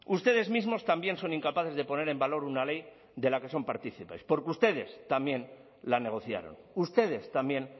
ustedes mismos también son incapaces de poner en valor una ley de la que son partícipes porque ustedes también la negociaron ustedes también